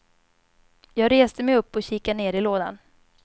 Jag reste mej upp och kikade ner i lådan.